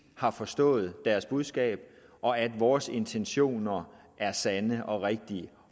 har forstået deres budskab og at vores intentioner er sande og rigtige